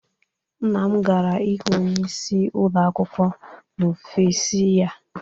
Nna m gara ị hụ Onyeisi ụlọ akwụkwọ n'ọfịs ya.